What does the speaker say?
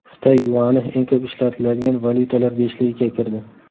Xitoy yuani eng ko‘p ishlatiladigan valyutalar beshligiga kirdi.